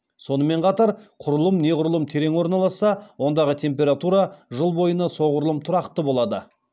сонымен қатар құрылым неғұрлым терең орналасса ондағы температура жыл бойына соғұрлым тұрақты болады